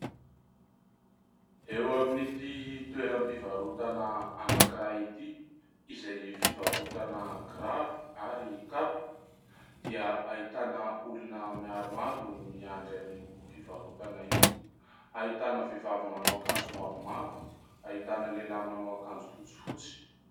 Eo amin'ity toeram-pivarotana anankiray ity izay fivarotana kiraro ary kapa dia ahitana olona maromaro miandry an'io fivarotana io. Ahitana vehivavy manao akanjo mavomavo, ahitana lehilahy manao akanjo fotsifotsy.